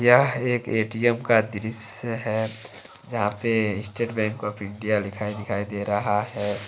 यह एक ए_टी_एम का दृश्य है यहां पे स्टेट बैंक आफ इंडिया लिखा दिखाई दे रहा है।